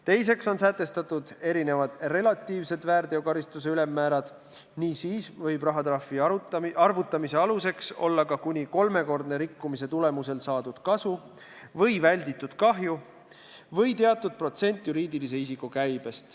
Teiseks on sätestatud erinevad relatiivsed väärteokaristuse ülemmäärad ning siis võib rahatrahvi arvutamise aluseks olla ka kuni kolmekordne rikkumise tulemusel saadud kasu või välditud kahju või teatud protsent juriidilise isiku käibest.